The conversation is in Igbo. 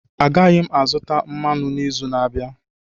Agaghị m azụ mmanụ n'izu na-abịa